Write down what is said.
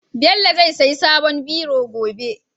Bello zai siya sabon biro gobe